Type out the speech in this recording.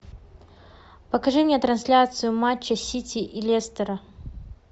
покажи мне трансляцию матча сити и лестера